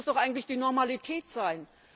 Das muss doch eigentlich die Normalität sein.